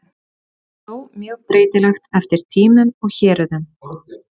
Þetta var þó mjög breytilegt eftir tímum og héruðum.